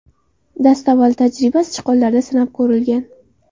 Dastavval tajriba sichqonlarda sinab ko‘rilgan.